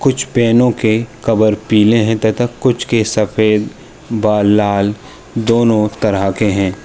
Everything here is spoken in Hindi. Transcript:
कुछ पेनो के कवर पीले हैं तथा कुछ के सफ़ेद बा लाल दोनों तरह के हैं।